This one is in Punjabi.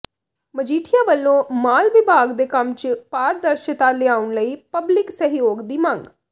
ਮਜੀਠੀਆ ਵਲੋਂ ਮਾਲ ਵਿਭਾਗ ਦੇ ਕੰਮ ਚ ਪਾਰਦਰਸ਼ਤਾ ਲਿਆਉਣ ਲਈ ਪਬਲਿਕ ਸਹਿਯੋਗ ਦੀ ਮੰਗ